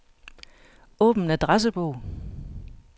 Åbn adressebog.